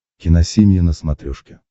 киносемья на смотрешке